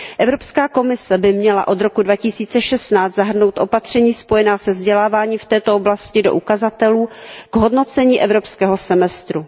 Evropská komise by měla od roku 2016 zahrnout opatření spojená se vzděláváním v této oblasti do ukazatelů k hodnocení evropského semestru.